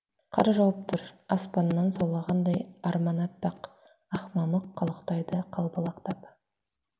қар жауып тұр аспаннан саулағандай арман аппақ ақ мамық қалықтайды қалбалақтап